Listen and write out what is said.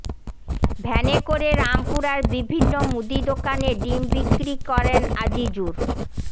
ভ্যানে করে রামপুরার বিভিন্ন মুদি দোকানে ডিম বিক্রি করেন আজিজুর